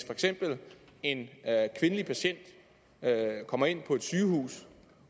en kvindelig patient kommer ind på et sygehus